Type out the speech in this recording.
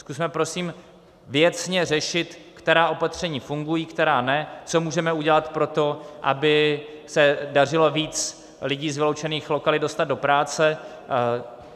Zkusme prosím věcně řešit, která opatření fungují, která ne, co můžeme udělat pro to, aby se dařilo víc lidí z vyloučených lokalit dostat do práce.